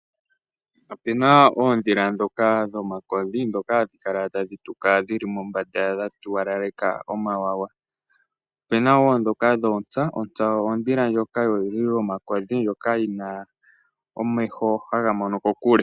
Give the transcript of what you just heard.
Ope na oondhila ndhoka dhomakodhi, ndhoka hadhi kala tadhi tuka dhi li mombanda dha tuwalaleka omawawa. Ope na wo ndhoka dhoontsa. Ontsa ondhila ndjoka yoludhi lwomakodhi ndjoka yi na omeho haga mono ko kokule.